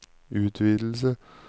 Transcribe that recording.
utvidelse